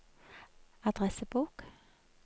adressebok